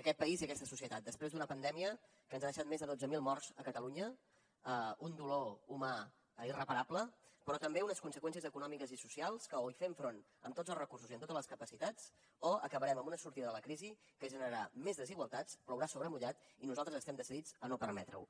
aquest país i aquesta societat després d’una pandèmia que ens ha deixat més de dotze mil morts a catalunya un dolor humà irreparable però també unes conseqüències econòmiques i socials que o hi fem front amb tots els recursos i amb totes les capacitats o acabarem amb una sortida de la crisi que generarà més desigualtats plourà sobre mullat i nosaltres estem decidits a no permetre ho